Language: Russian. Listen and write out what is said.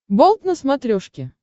болт на смотрешке